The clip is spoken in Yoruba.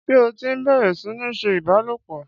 Ṣé ó ti bẹ̀rẹ̀ sí ní ṣe ìbálòpọ̀?